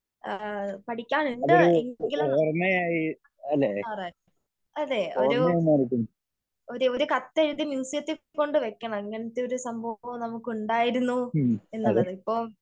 പടിക്കാനുണ്ട് എങ്കിലും അതേ ഒരു കത്ത് ഒരു കത്ത് എഴുതി മ്യൂസിയത്തിൽ കൊണ്ട് വെക്കണം. ഇങ്ങനത്തെ ഒരു സംഭവം ഉണ്ടായിരുന്നു എന്നുള്ളത് ഇപ്പോ